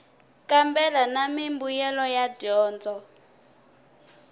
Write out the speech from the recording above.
kambela na mimbuyelo ya dyondzo